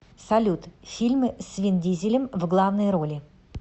салют фильмы с вин дизелем в главной роли